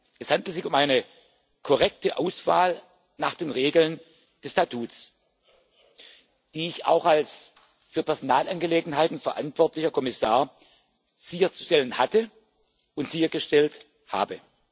Es handelte sich um eine korrekte Auswahl nach den Regeln des Statuts, die ich auch als für Personalangelegenheiten verantwortlicher Kommissar sicherzustellen hatte und sichergestellt habe.